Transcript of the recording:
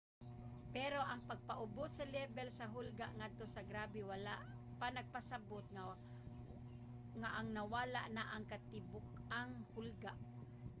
pero ang pagpaubos sa lebel sa hulga ngadto sa grabe wala nagpasabot nga ang nawala na ang katibuk-ang hulga.